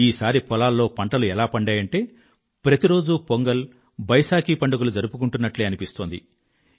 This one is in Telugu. ఈసారి పొలాల్లో పంటలు ఎలా పండాయంటే ప్రతి రోజూ పొంగల్ బైశాఖీ పండుగలు జరుపుకుంటున్నట్లే అనిపిస్తోంది